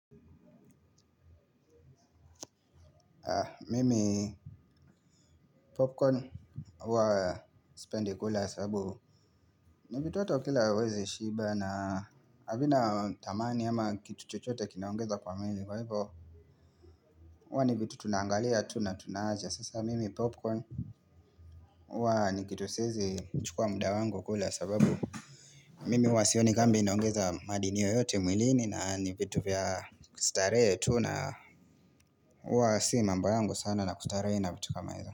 Mimi Popcorn huwa sipendi kula sababu ni vitu watu wakila hawawezi shiba na havina thamani ama kitu chochote kinaongeza kwa mwili kwa hivyo huwa ni vitu tunaangalia tu na tunawacha sasa mimi popcorn huwa ni kitu siwezi chukua muda wangu kula sababu mimi huwa sioni kama inaongeza madini yoyote mwilini na ni vitu vya kustarehe tu na huwa si mambo yangu sana na kustarehe na vitu kama hizo.